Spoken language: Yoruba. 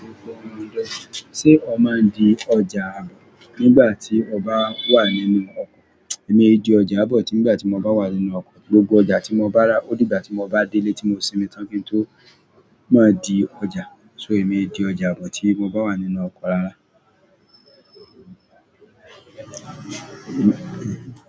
Ṣé o máa ń di ọjà nígbà tí o bá wà nínú ọkọ̀? Èmi di ọjà bọ̀ tí nígbà tí mo bá wà nínú ọkọ̀. Gbogbo ọjà tí mo bá rà ó dìgbà tí mo bá délé tí mo sinmi tán kí n tó má di ọjà. So èmi di ọjà bọ̀ tí mo bá wà nínú ọkọ̀ rárá.